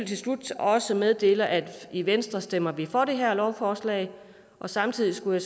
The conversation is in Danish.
til slut også meddele at i venstre stemmer vi for det her lovforslag og samtidig skulle